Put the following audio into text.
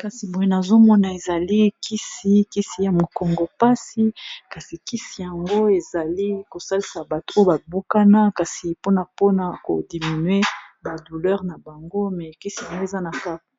kasi boye nazomona ezali kisi kisi ya mokongo mpasi kasi kisi yango ezali kosalisa bato oyo babukana kasi pona mpona kodiminue ba douleur na bango me kisi yango eza